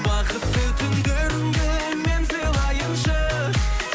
бақытты түндеріңді мен сыйлайыншы